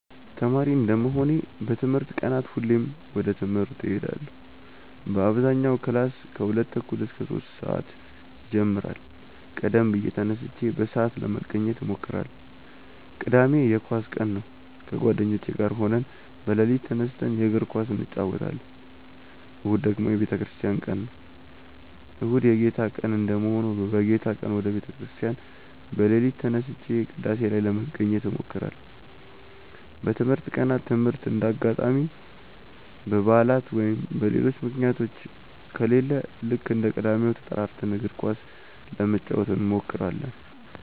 ተማሪ እንደመሆኔ በትምህርት ቀናት ሁሌም ወደ ትምህርት እሄዳለው በአብዛኛው ክላስ ከሁለት ተኩል እስከ ሶስት ሰአት ይጀምራል ቀደም ብዬ ተነስቼ በሰአት ለመገኘት እሞክራለው። ቅዳሜ የኳስ ቀን ነው ከጓደኞቼ ጋር ሆነን በሌሊት ተነስተን የእግር ኳስ እንጨወታለን። እሁድ ደግሞ የቤተክርስቲያን ቀን ነው። እሁድ የጌታ ቀን እንደመሆኑ በጌታ ቀን ወደ ቤተ ክርስቲያን በሌሊት ተነስቼ ቅዳሴ ላይ ለመገኘት እሞክራለው። በትምህርት ቀናት ትምህርት እንደ አጋጣሚ በባዕላት ወይም በሌሎች ምክንያቶች ከሌለ ልክ እንደ ቅዳሜው ተጠራርተን እግር ኳስ ለመጫወት እንሞክራለው።